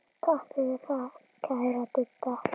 Takk fyrir það, kæra Didda.